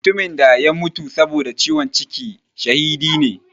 Mutumin da ya mutu saboda ciwon ciki shahidi ne.